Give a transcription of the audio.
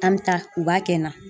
An bi taa u b'a kɛ n na.